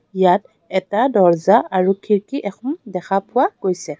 ইয়াত এটা দৰ্জা আৰু খিৰিকী এখন দেখা পোৱা গৈছে.